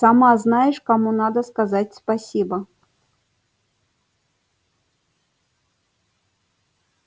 сама знаешь кому надо сказать спасибо